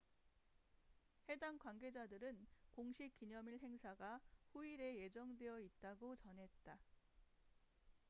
해당 관계자들은 공식 기념일 행사가 후일에 예정되어 있다고 전했다